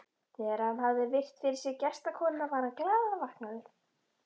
Þegar hann hafði virt fyrir sér gestakomuna var hann glaðvaknaður.